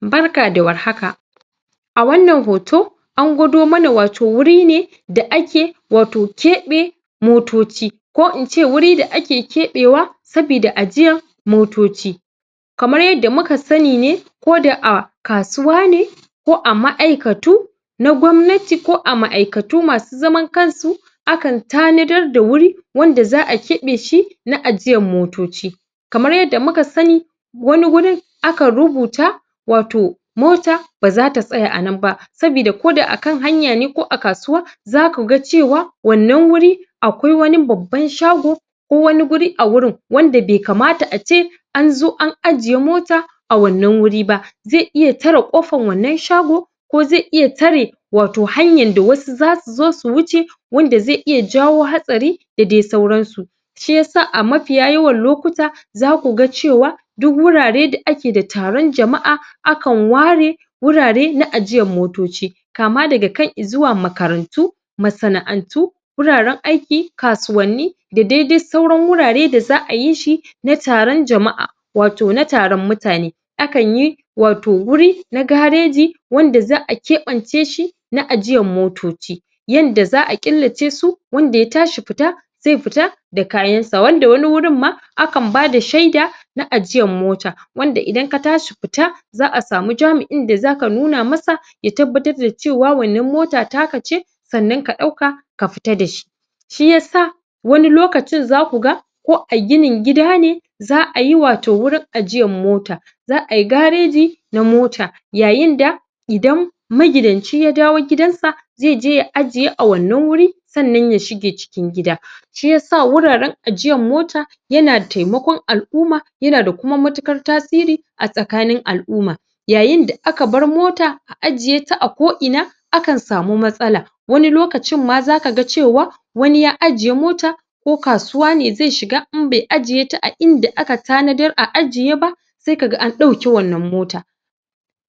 Barka da warhaka a wannan hoto a gwado mana wato wuri ne da ake wato keɓe motoci ko in ce wuri da ake keɓe sabida ajiyan motoci kamar yanda muka sani ne koda a kasuwa ne ko a ma'aikatu na gwamnati ko a ma'aikatu masu zaman kansu akan tanadar da wurin wanda za a keɓeshi na ajiyan motoci kamar yanda muka sani wani wurin akan rubuta wato mota ba zata tsaya anan ba sabida koda akan hanya ne ko a kasuwa zaku ga cewa wannan wuri akwai wani baban shago ko wani guri a wurin wanda bai kamta a ce an zo an ajiye mota a wannan wuri ba zai iya tare ƙofan wannan shago ko zai iya tare wato hanyan da wasu za su zo su wuce wanda zai iya jawo hatsari da dai sauransu shiyasa a mafiya yawan lokuta zakuga cewa duk wurare da ake da taron jama'a akan ware wurare na ajiyan motoci kama daga kan izuwa makarantu masana'antu guraren aiki, kasuwanni da dai sauran wurare da za a yishi na taron jama'a wato na taron mutane akanyi wato wuri na gareji wanda za a keɓanceshi na ajiyan motoci yanda za a killacesu wanda ya tashi fita zai fita da kayansa wanda wani wurinma akan bada shaida na ajiyan mota wanda idan ka tashi fita za a samu jami'in da zaka nuna masa ya tabbatar da cewa wannan mota taka ce sannan ka ɗauka ka fita dashi shiyasa wani lokacin zaku ga ko a ginin gida ne za a yi wato wurin ajiyan mota za ayi gareji a mota yayinda idan magidanci ya dawo gidansa zai je ya ajiye a wannan wuri sannan ya shige cikin gida shiyasa wuraren ajiyan mota yana taimakon al'uma yana da kuma matuƙar tasiri tsakanin al'uma yayinda aka bar mota ajiyeta a ko'ina akan samu matsala wani lokacin ma zaka ga cewa wani ya ajiye mota ko kasuwa ne zai shiga in bai ajiyeta a inda aka tanadar a ajiye ba sai ka ga an ɗauke wannan mota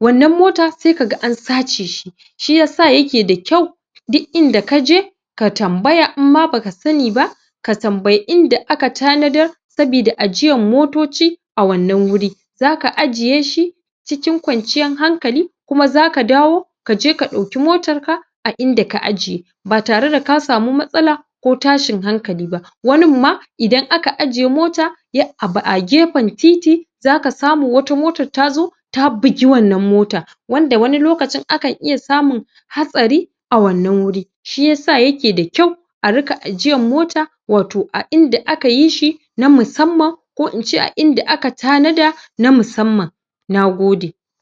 wannan mota sai ka ga na sace shi shiyasa yake da kyau duk inda ka je ka tambaya inma baka sani ba ka tambayi inda aka tanadar sabida ajiyan motoci a wannan wuri zaka ajiyeshi cikin kwanciyar hankali kuma zaka dawo kaje ka ɗauki motarka a inda ka aje ba tare da ka samu matsala ko tashin hankali ba waninma idan aka aje mota ya abu a gefen titi zaka samu wata motar ta zo ta bugi wannan mota wanda wani lokacin akan iya samun hatsari a wannan wuri shiyasa yake da kyau a riƙa ajiyan mota wato a inda aka yi shi na musamman ko in ce a inda aka tanada na musamman na gode.